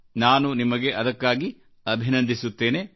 ನಾನು ನಿಮಗೆ ಅದಕ್ಕಾಗಿ ಅಭಿನಂದಿಸುತ್ತೇನೆ